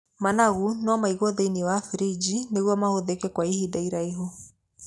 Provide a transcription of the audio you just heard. Managu no maiguo thĩiniĩ wa birinji nĩguo mahũthĩke kwa ihinda iraihu.